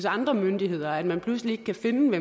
andre myndigheder altså at man pludselig ikke kan finde ud